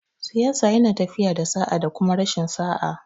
Siyasa yana tafiya da sa'a da kuma rashin sa'a